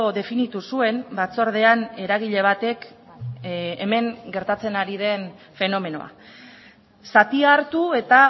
definitu zuen batzordean eragile batek hemen gertatzen ari den fenomenoa zatia hartu eta